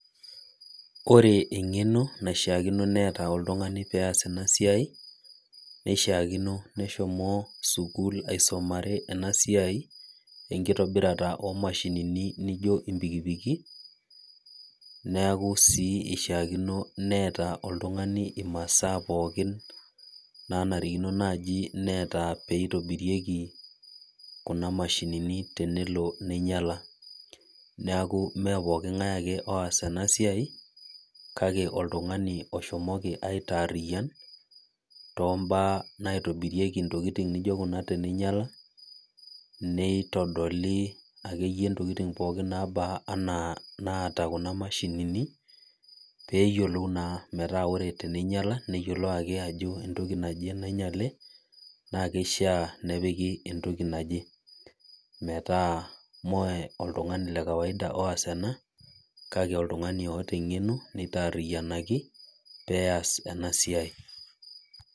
Koree engeno naishiakino neeta oltungani pee eas ena siai neishiakino neshomo skull aisomare ena siai enkitobirata oo mashinini naijo mpikipiki niaku sii eishiakino neeta oltungani masaa pookin nanarikino nitobitieki kuna mashinini tenelo ninyala niaku mme pooki ngae ake oas ena siai kake oltungani oshomoki aitengen too mbaa naitobirieki kuna tokikitin pee minyala neitodoli akeyie ntokitin pookin naba anaa naata kuna maahinini metaa ore ake pee einyala niyiolou ajo entoki naje nainyale neishaa nepiki entoki naje metaa mme oltungani le kawaida oas ena kake oltungani oota engeno neitariiyianaki pee eas ena siai